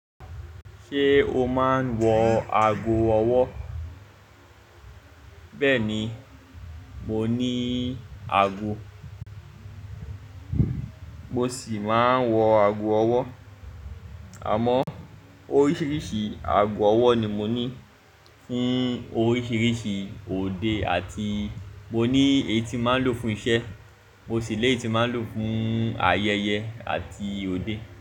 Ṣé o máa ń wọ ago ọwọ́? Bẹ́ẹ̀ni, mo ní ago, mo sì máa ń wọ ago ọwọ́. Àmọ́ oríṣiríṣi ago ọwọ́ ni mo ní fún oríṣiríṣi òde àti mo ní èyí tí máa ń lò fún iṣẹ́, mo sì ni eyi tí n máa ń lò fún ayẹyẹ àti òde.